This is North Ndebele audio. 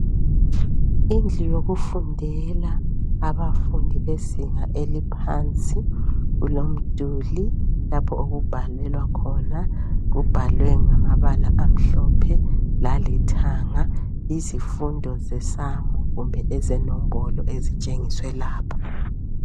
Indlu yokufundela abafundi bezinga eliphansi Kulomduli lapho okubhalelwa khona. Kubhalwe ngamabala amhlophe, lalithanga. Yizfundo zeSamu, kumbe ezeNombolaoa.. Ezitshengiswe lapha.